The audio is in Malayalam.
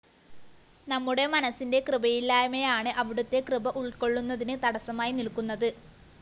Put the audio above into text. നമ്മുടെ മനസ്സിന്റെ കൃപയില്ലായ്മയാണ് അവിടുത്തെ കൃപ ഉള്‍ക്കൊള്ളുന്നതിന് തടസ്സമായി നില്‍ക്കുനത്